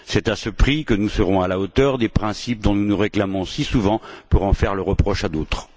C'est à ce prix que nous serons à la hauteur des principes dont nous nous réclamons si souvent pour en faire le reproche à d'autres.